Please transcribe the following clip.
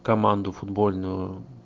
команду футбольную